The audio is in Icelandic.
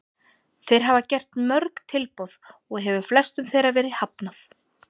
Þeir hafa gert mörg tilboð og hefur flestum þeirra verið hafnað.